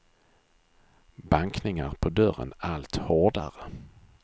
Bankningar på dörren, allt hårdare.